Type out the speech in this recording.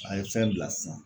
A ye fɛn bila sisan